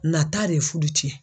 Nata de ye fudu cɛn.